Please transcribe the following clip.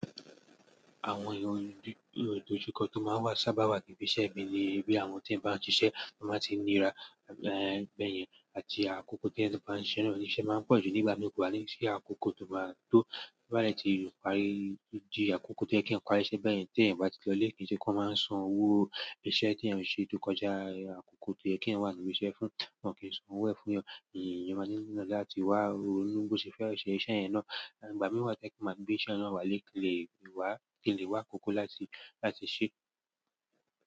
Àwọn èrò ìdojúkọ tó máa ń sábà wà níbí iṣẹ́ ibi ni bí àwọn tí ń bá ń ṣiṣẹ́ tó máa ń ti nira, ba yen àti àkókò tí ẹyan tó bá ń ṣiṣẹ́ rẹ̀ íṣe máa ń pọ̀jù nígbà kọ́wá ni sí àkókò ti ó má tó boba dè ti parí, di àkókò tó yẹ kí eyan pari iṣe bẹ́ẹ̀ yẹn tí ẹ̀yin bá ti lọ ilé kì í ṣe kan máa n san owó iṣẹ́ tí ẹ̀yan n ṣe tó kọjá àkókò tó yẹ kí eeyan wà níbí iṣẹ́ fún, wọn kì í san owó ẹ fún yan. Eyàn máa ní oná láti wá ronu bo ṣe fẹ́ se iṣẹ́ yẹn náà. Igbà mí wa to je pe máa gbé iṣẹ́ náà wá lè kí lè wá kí lè wá àkókò láti, láti ṣe.